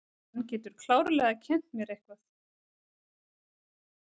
Hann getur klárlega kennt mér eitthvað.